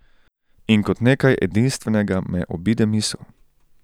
In kot nekaj edinstvenega me obide misel.